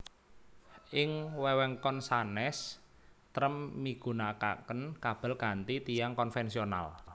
Ing wewengkon sanés trem migunakaken kabel kanthi tiang konvensional